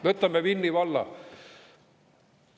Võtame Vinni valla.